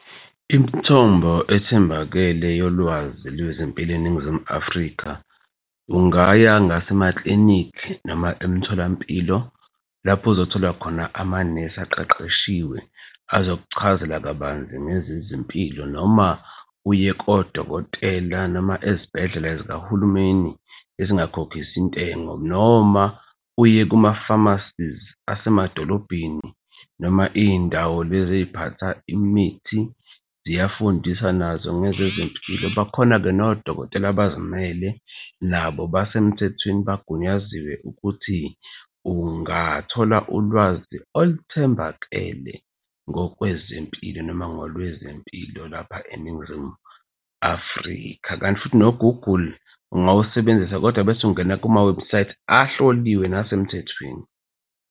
Imithombo ethembakele yolwazi lwezempilo eNingizimu Afrika ungaya ngase maklinikhi noma emtholampilo lapho uzothola khona amanesi aqeqeshiwe. Azokuchazela kabanzi ngezezempilo noma uye kodokotela noma ezibhedlela zikahulumeni ezingakhokhisi ntengo noma uye kuma-pharmacies asemadolobheni noma iy'ndawo lezi eziphatha imithi ziyafundisa nazo ngezezempilo. Bakhona-ke nodokotela abazimele nabo basemthethweni bagunyaziwe ukuthi ungathola ulwazi oluthembakele ngokwezempilo noma ngolwezempilo lapha eNingizimu Afrika. Kanti futhi no-Google ungawusebenzisa kodwa bese ungena kumawebhusayithi ahloliwe nasemthethweni.